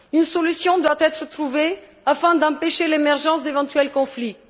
Une solution doit être trouvée afin d'empêcher l'émergence d'éventuels conflits.